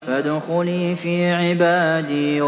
فَادْخُلِي فِي عِبَادِي